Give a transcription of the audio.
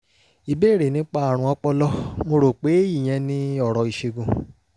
ìbéèrè nípa àrùn ọpọlọ; mo rò pé ìyẹn ni ọ̀rọ̀ ìṣègùn